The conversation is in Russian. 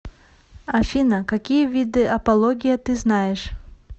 афина какие виды апология ты знаешь